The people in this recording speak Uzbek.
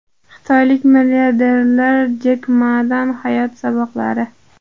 Xitoylik milliarder Jek Madan hayot saboqlari.